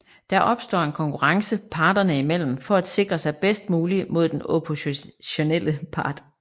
Der opstår en konkurrence parterne i mellem for at sikre sig bedst muligt mod den oppositionelle part